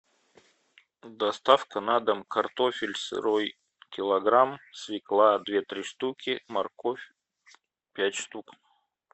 доставка на дом картофель сырой килограмм свекла две три штуки морковь пять штук